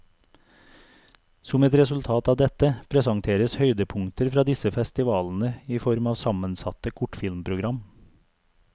Som et resultat av dette, presenteres høydepunkter fra disse festivalene i form av sammensatte kortfilmprogram.